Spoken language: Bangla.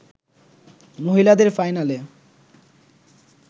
মহিলাদের ফাইনালে